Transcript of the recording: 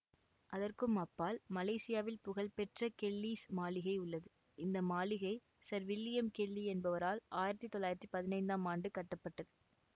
அதற்கும் அப்பால் மலேசியாவில் புகழ்பெற்ற கெல்லிஸ் மாளிகை உள்ளது இந்த மாளிகை சர் வில்லியம் கெல்லி என்பவரால் ஆயிரத்தி தொள்ளாயிரத்தி பதினைந்தாம் ஆண்டு கட்ட பட்டது